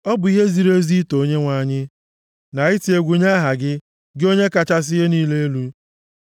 Ọ bụ ihe ziri ezi ito Onyenwe anyị, na iti egwu nye aha gị, gị Onye kachasị ihe niile elu,